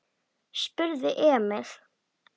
spurði Emil.